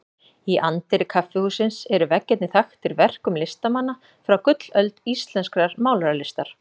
Í anddyri kaffihússins eru veggirnir þaktir verkum listamanna frá gullöld íslenskrar málaralistar.